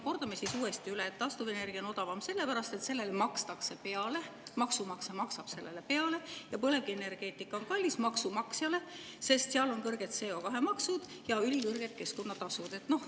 Kordame siis uuesti üle, et taastuvenergia on odavam sellepärast, et sellele makstakse peale, maksumaksja maksab sellele peale, ja põlevkivienergeetika on maksumaksjale kallis, sest seal on kõrged CO2-maksud ja ülikõrged keskkonnatasud.